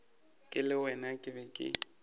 ke le wena ke be